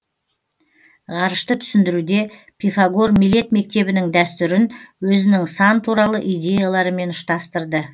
ғарышты түсіндіруде пифагор милет мектебінің дәстүрін өзінің сан туралы идеяларымен ұштастырды